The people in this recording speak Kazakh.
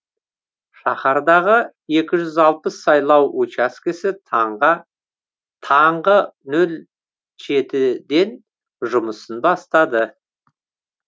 шаһардағы екі жүз алпыс сайлау учаскесі таңғы нөл жеті ден жұмысын бастады